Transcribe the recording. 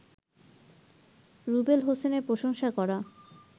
রুবেল হোসেনের প্রশংসা করা